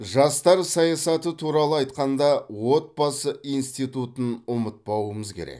жастар саясаты туралы айтқанда отбасы институтын ұмытпауымыз керек